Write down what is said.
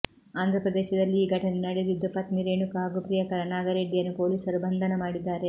ಆಂಧ್ರಪ್ರದೇಶದಲ್ಲಿ ಈ ಘಟನೆ ನಡೆದಿದ್ದು ಪತ್ನಿ ರೇಣುಕಾ ಹಾಗೂ ಪ್ರಿಯಕರ ನಾಗಿರೆಡ್ಡಿಯನ್ನು ಪೊಲೀಸರು ಬಂಧನ ಮಾಡಿದ್ದಾರೆ